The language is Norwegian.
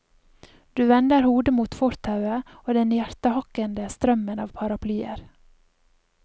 Du vender hodet mot fortauet og den hjertehakkende strømmen av paraplyer.